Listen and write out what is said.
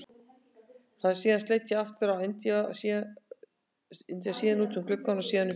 Síðan leit ég aftur á Inda, síðan út um gluggann, síðan upp í loftið.